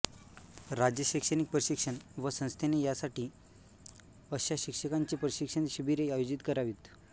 राज्य शैक्षणिक प्रशिक्षण व संस्थेने यासाठी अशा शिक्षकांची प्रशिक्षण शिबिरे आयोजित करावीत